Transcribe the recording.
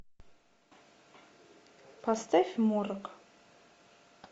поставь морок